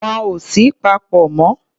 Wọn ò sí papọ̀ mọ́.